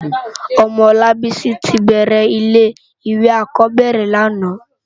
Òmò Olabisi ti bèrè ilé iwé ákòbèrè làná